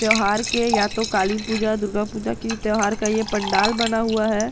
त्यौहार के या तो काली पूजा दुर्गा पूजा की त्यौहार का यह पंडाल बना हुआ है ।